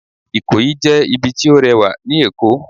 Ikoyi jẹ ibì ti o rewa ní Èko